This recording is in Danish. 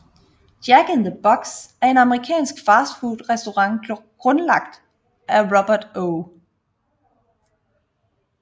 Jack in the Box er en amerikansk fastfood restaurant grundlagt af Robert O